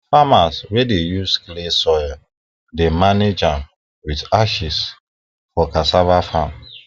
farmers wey dey use clay soil dey manage am with ashes for cassava farm